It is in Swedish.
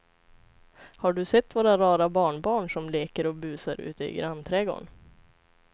Har du sett våra rara barnbarn som leker och busar ute i grannträdgården!